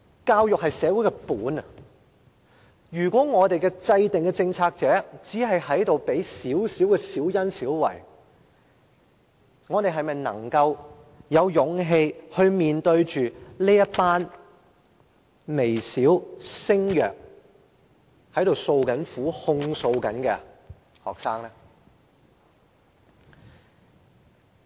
教育是社會的根本，如果我們的政策制訂者只願給予小恩小惠，我們是否有勇氣面對這群微小聲弱，正在訴苦、正在控訴的學生呢？